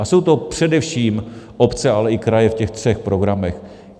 A jsou to především obce, ale i kraje v těch třech programech.